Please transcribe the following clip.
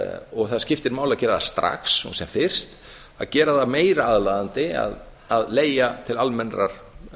og það skiptir máli að gera það strax og sem fyrst að gera það meira aðlaðandi að leigja til almennrar